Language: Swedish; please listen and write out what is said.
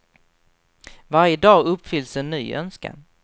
Varje dag uppfylls en ny önskan.